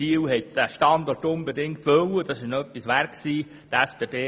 Biel wollte seinen Standort unbedingt, und das war der Stadt etwas wert.